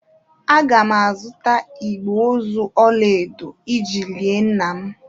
Aga m azụta igbe ozu ọla edo iji lie nna m.